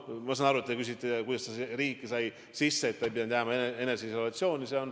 Ma saan aru, et te küsite, kuidas ta riiki sisse sai, nii et ei pidanud jääma eneseisolatsiooni.